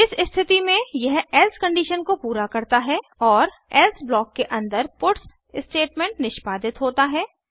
इस स्थिति में यह एल्से कंडीशन को पूरा करता है और एल्से ब्लॉक के अंदर पट्स स्टेटमेंट निष्पादित होता है